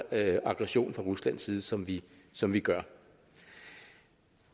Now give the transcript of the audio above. aggression fra ruslands side som vi som vi gør